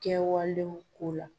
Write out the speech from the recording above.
Kɛwalew ko la.